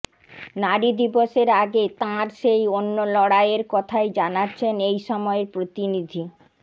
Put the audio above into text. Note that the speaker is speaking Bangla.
নারী দিবসের আগে তাঁর সেই অন্য লড়াইয়ের কথাই জানাচ্ছেন এই সময়ের প্রতিনিধি